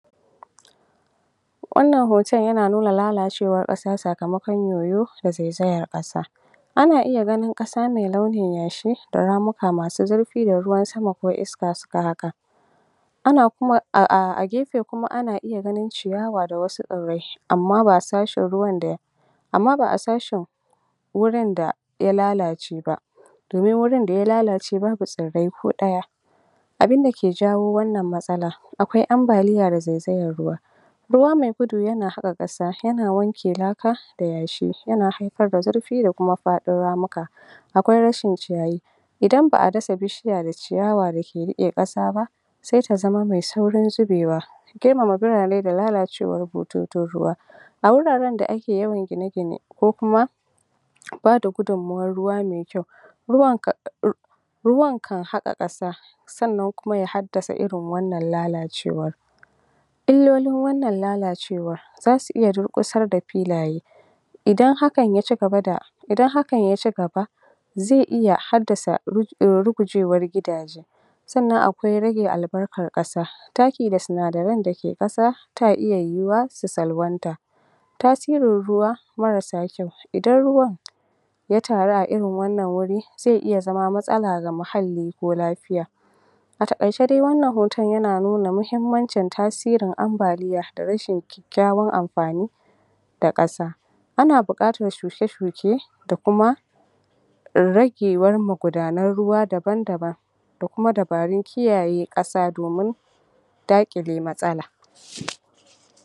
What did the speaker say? wannan hoton yana nuna lalacewar ƙasa sakamakon yoyo da zaizayar ƙasa wannan hoton yana nuna lalacewar ƙasa sakamakon yoyo da zaizayar ƙasa ana iya ganin ƙasa mai launin yashi da ramuka masu zurfi da ruwan sama ko iska iska haka a gefe Kuma ana iya ganin ciyawa da wasu tsirrai Amma ba a sashin wurinda amma ba'a sashin wurinda ya lalace ba domin wurinda ya lallace babu tsirrai ko ɗaya ɗaya abunda ke jawo wannan matsala akwai ambaliya da zaizayar ruwa, ruwa mai gudu yana haka kasa yana wanke laka da yashi yana haifar da zurfi da Kuma faɗin ramuka akwai rashin ciyayi Idan baʼa dasa bishiya da ciyawa dake rike kasa ba sai ta zama mai saurin zubewa girmama birane da lalacewar bototon ruwa a wurarenda ake yawan gine gine ko Kuma bada gudunmuwan ruwa mai kyau ruwan ruwan kan haka kasa sannan Kuma ya haddasa irin wannan lalacewar illolin wannan lalacewa zasu iya durƙusar da filaye Idan haka ya cigaba Idan haka ya cigaba zai iya haddasa rugujewar gidaje sannan akwai rage albarkar kasa taki da sinadaran da ke ƙasa ta iya yuwuwa su salwanta tasirin ruwa marasa kyau Idan ruwan ya taru a irin wannan wuri zai iya zama matsala ga muhalli ko lafiya a taƙaice dai wannan hoton yana nuna muhimmancin tasirin ambaliya da rashin kyakkyawan anfani ga ƙasa da kasa ana buƙatar shuke shuke da kuma Kuma ragewar magudanan ruwa daban daban da Kuma dabarun kiyaye kasa domin daƙile matsala